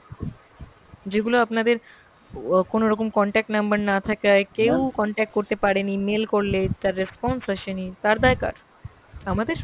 যেগুলো আপনাদের ও কোনোরকম contact number না থাকাই কেও contact করতে পারেনি, mail করলে তার response আসেনি, তার দায় কার? আমাদের ?